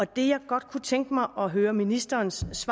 det jeg godt kunne tænke mig at høre ministerens